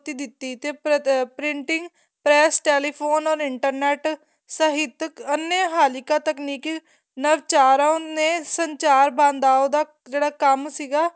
ਦਿੱਤੀ ਤੇ printing press or telephone ਔਰ internet ਸਾਹਿਤਕ ਅੰਨੇ ਹਾਲਿਕਾ ਤਕਨੀਕੀਕ ਨਰ ਚਾਰਾਂ ਉੰਨੇ ਸੰਚਾਰ ਬਦਾਹੋ ਦਾ ਜਿਹੜਾ ਕੰਮ ਸੀਗਾ